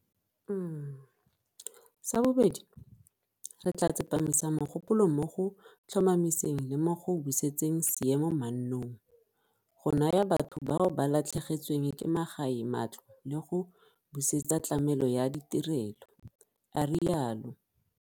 Sa bobedi, re tla tsepamisa mogopolo mo go tlhomamiseng le mo go busetseng seemo mannong, go naya batho bao ba latlhegetsweng ke magae matlo le go busetsa tlamelo ya ditirelo, a rialo.